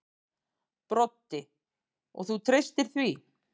Broddi: Og þú treystir því?